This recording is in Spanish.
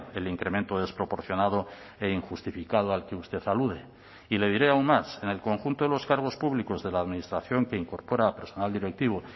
el incremento desproporcionado e injustificado al que usted alude y le diré aún más en el conjunto de los cargos públicos de la administración que incorpora a personal directivo